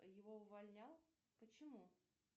его увольнял почему